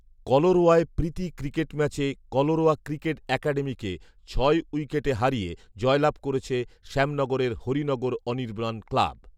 কলারোয়ায় প্রীতি ক্রিকেট ম্যাচে কলারোয়া ক্রিকেট একাডেমিকে ছয় উইকেট হারিয়ে জয়লাভ করেছে শ্যামনগরের হরিনগর অনির্বাণ ক্লাব৷